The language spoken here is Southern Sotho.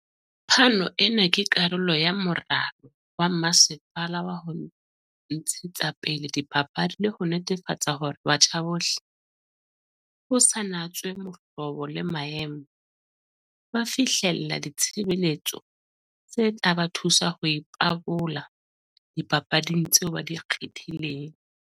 "Phano ena ke karolo ya moralo wa masepala wa ho ntshetsapele dipapadi le ho netefatsa hore batjha bohle, ho sa natswe mohlobo le maemo, ba fihlella ditshebeletso tse tla ba thusa ho ipabola dipapading tseo ba di kgethileng."